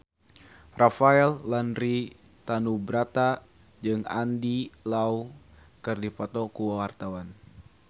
Rafael Landry Tanubrata jeung Andy Lau keur dipoto ku wartawan